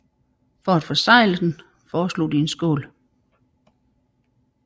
For at besegle den foreslog de en skål